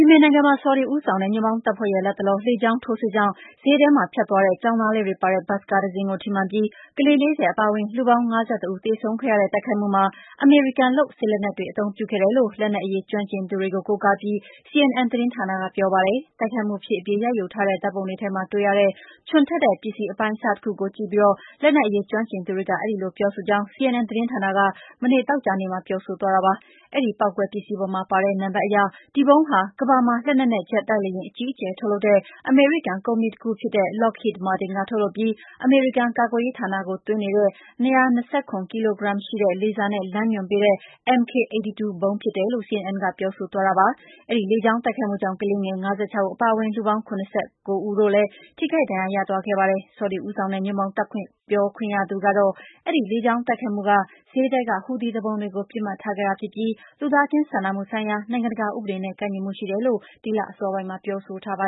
မင်နိုင်ငံမှာ ဆော်ဒီဦးဆောင်တဲ့ ညွန့်ပေါင်းတပ်ဖွဲ့ရဲ့လတ်တလော လေကြောင်းထိုးစစ်ကြောင့် ဈေးထဲမှာ ဖြတ်သွားတဲ့ ကျောင်းသားလေးတွေပါတဲ့ဘတ်စ်ကားတစင်းကို ထိမှန်ပြီး ကလေး ၄၀ အပါအဝင် လူပေါင်း ၅၁ ဦးသေဆုံးခဲ့ရတဲ့ တိုက်ခိုက်မှုမှာ အမေရိကန်လုပ် စစ်လက်နက်တွေအသုံးပြုခဲ့တယ်လို့ လက်နက်အရေး ကျွမ်းကျင်သူတွေကို ကိုးကားပြီး CNN သတင်းဌာနကပြောပါတယ်။ တိုက်ခိုက်မှုဖြစ်အပြီး ရိုက်ယူထားတဲ့ ဓာတ်ပုံတွေထဲမှာ တွေ့ရတဲ့ ချွန်ထက်တဲ့ပစ္စည်း အပိုင်းအစတခုကို ကြည့်ရှုပြီး လက်နက်အရေးကျွမ်းကျင်သူတွေကအဲဒီလို ပြောဆိုကြောင်း CNN သတင်းဌာနက သောကြာနေ့မှာ ပြောဆိုသွားတာပါ။ အဲဒီပေါက်ကွဲပစ္စည်းပေါ်မှာပါတဲ့နံပါတ်အရ ဒီဗုံးဟာ ကမ္ဘာမှာ လက်နက်နဲ့ ဂျက်တိုက် လေယာဉ် အကြီးအကျယ်ထုတ်လုပ်တဲ့ အမေရိကန်ကုမ္ပဏီတခုဖြစ်တဲ့ Lockheed Martin ကထုတ်လုပ်ပြီး အမေရိကန်ကာကွယ်ရေးဌာနကို သွင်းနေတဲ့၂၂၇ ကီလိုဂရမ်ရှိတဲ့၊ လေဆာနဲ့ လမ်းညွှန်ပေးတဲ့ MK 82 ဗုံး ဖြစ်တယ်လို့ CNN ကပြောဆိုသွားတာပါ။ အဲဒီလေကြောင်းတိုက်ခိုက်မှုကြောင့် ကလေးငယ် ၅၆ ဦးအပါအဝင် လူပေါင်း ၇၉ ဦးတို့လည်း ထိခိုက် ဒဏ်ရာ ရသွားခဲ့တာပါ။ ဆော်ဒီဦးဆောင်တဲ့ ညွန့်ပေါင်းတပ်ပြောခွင့်ရသူကတော့ အဲဒီလေကြောင်း တိုက်ခိုက်မှုက ဈေးထဲက ဟူူသီသူပုန်တွေကို ပစ်မှတ်ထားခဲ့တာဖြစ်ပြီး လူသားချင်းစာနာမှုဆိုင်ရာ နိုင်ငံတကာဥပဒေနဲ့ ကိုက်ညီမှုရှိတယ်လို့ ဒီလအစောပိုင်းမှာ ပြောဆိုထားတာပါ